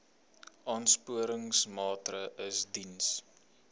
aansporingsmaatre ls diens